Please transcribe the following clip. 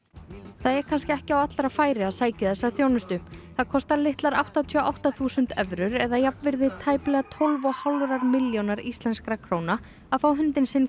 það er kannski ekki á allra færi að sækja þessa þjónustu það kostar litlar áttatíu og átta þúsund evrur eða jafnvirði tæplega tólf og hálfrar milljónar íslenskra króna að fá hundinn sinn